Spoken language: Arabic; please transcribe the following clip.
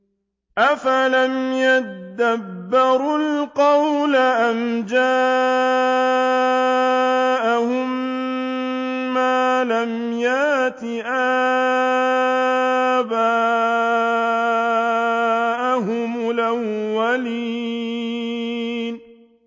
أَفَلَمْ يَدَّبَّرُوا الْقَوْلَ أَمْ جَاءَهُم مَّا لَمْ يَأْتِ آبَاءَهُمُ الْأَوَّلِينَ